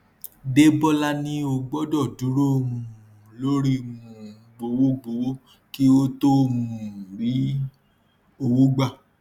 debola ní ó gbọdọ dúró um lórí um gbowó gbowó kí ó tó um rí owó gbà